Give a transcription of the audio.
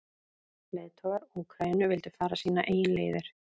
Leiðtogar Úkraínu vildu fara sínar eigin leiðir.